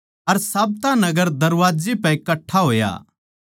अर साब्ता नगर दरबाजे पै कट्ठा होया